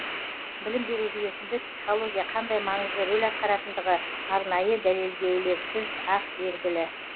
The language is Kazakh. білім беру жүйесінде психология қандай маңызды рөл атқаратындығы арнайы дәлелдеулеріз ақ белгілі